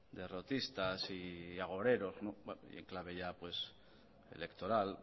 derrotistas y agoreros y en clave ya pues electoral